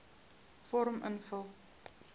vorm invul